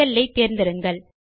செல்லை தேர்ந்தெடுங்கள்